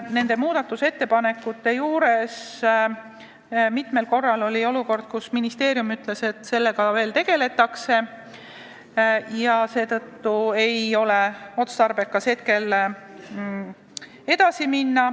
Nendest ettepanekutest rääkides tekkis mitu korda olukord, kus ministeerium ütles, et sellega veel tegeletakse ja seetõttu ei ole otstarbekas asjaga edasi minna.